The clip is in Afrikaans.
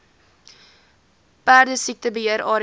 perdesiekte beheer area